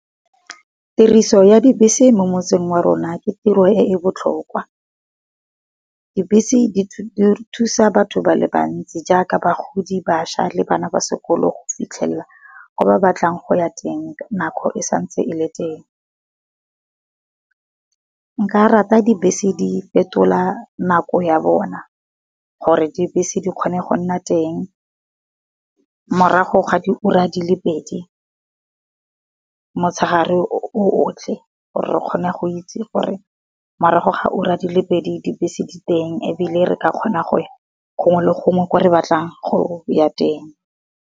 Tiriso ya dibese mo motseng wa rona ke tiro e e botlhokwa. Dibese di thusa batho ba le bantsi jaaka bagodi, bašwa le bana ba sekolo go fitlhelela go ba batlang go ya teng nako e santse e le teng. Nka rata dibese di fetola nako ya bona, gore dibese di kgone go nna teng morago ga diura di le pedi motshegare o otlhe, gore re kgone go itse gore morago ga o ra di le pedi dibese di teng ebile re ka kgona go ya gongwe le gongwe ko re batlang go ya teng.